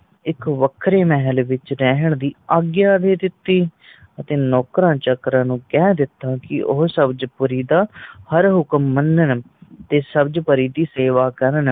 ਇੱਕ ਵੱਖਰੇ ਮਹੱਲ ਵਿੱਚ ਰਹਿਣ ਦੀ ਆਗਿਆ ਦੇ ਦਿੱਤੀ ਅਤੇ ਨੌਕਰਾਂ ਚਾਕਰ ਨੂੰ ਕੇ ਦਿੱਤਾ ਕਿ ਉਹ ਸਬਜ ਪੂਰੀ ਦਾ ਹਰ ਹੁਕਮ ਮਨਨ ਤੇ ਸਬਜ ਪਰੀ ਦੀ ਸੇਵਾ ਕਰਨ